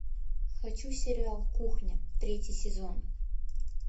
хочу сериал кухня третий сезон